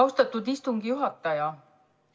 Austatud istungi juhataja!